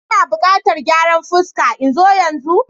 Ina buƙatan gyaran fuska. In zo yanzu?